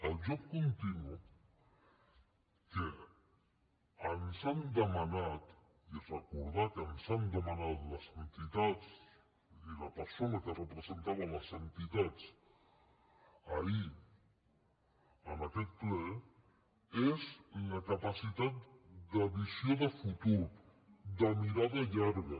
el joc continu que ens han demanat i recordar que ens ho van demanar les entitats i la persona que representava les entitats ahir en aquest ple és la capacitat de visió de futur de mirada llarga